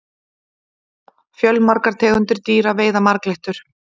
fjölmargar tegundir dýra veiða marglyttur